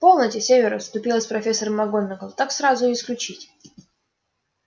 полноте северус вступилась профессор макгонагалл так сразу и исключить